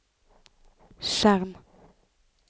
skjerm